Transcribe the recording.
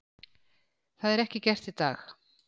Það er ekki gert í dag.